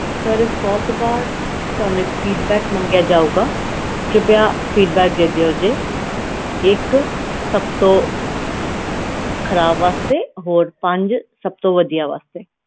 sir ਇਸ is ਤੋਂ ਬਾਅਦ ਤੁਹਾਨੂੰ ਇਕ feedback ਮੰਗਿਆ ਜੋਗਾ ਇੱਕ ਮੰਗਿਆ ਜੋਗਾ feedback ਦੇ ਦਿਓ ਜੇ ਇੱਕ ਸਭ ਤੋਂ ਖਰਾਬ ਵਾਸਤੇ ਹੋਰ ਪੰਜ ਸਭ ਤੋਂ ਵੜਿਆ ਵਾਸਤੇ